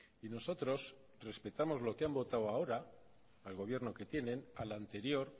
y nosotros respetamos lo que han votado ahora al gobierno que tienen al anterior